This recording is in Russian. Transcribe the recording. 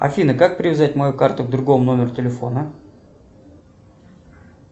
афина как привязать мою карту к другому номеру телефона